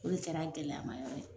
O de kɛra a gɛlɛyamayɔrɔ ye